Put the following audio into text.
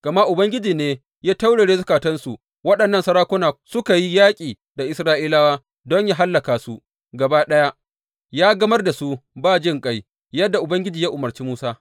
Gama Ubangiji ne ya taurare zukatansu waɗannan sarakuna suka yi yaƙi da Isra’ilawa don yă hallaka su gaba ɗaya, yă gamar da su ba jinƙai, yadda Ubangiji ya umarci Musa.